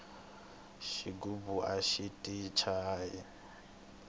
xigubu axi ti chayi